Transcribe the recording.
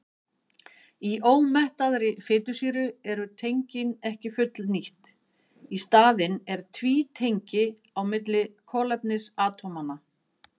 Í ómettaðri fitusýru eru tengin ekki fullnýtt, í staðinn er tvítengi á milli kolefnisatómanna.